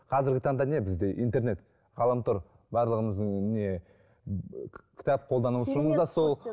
қазіргі таңда не бізде интернет ғаламтор барлығымыздың не кітап қолданушымыз да сол